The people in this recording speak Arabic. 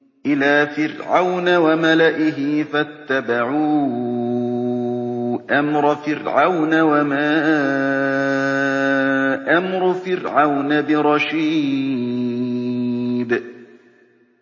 إِلَىٰ فِرْعَوْنَ وَمَلَئِهِ فَاتَّبَعُوا أَمْرَ فِرْعَوْنَ ۖ وَمَا أَمْرُ فِرْعَوْنَ بِرَشِيدٍ